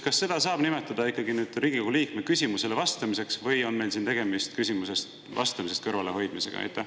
Kas seda saab nimetada Riigikogu liikme küsimusele vastamiseks või on meil siin tegemist küsimusele vastamisest kõrvalehoidmisega?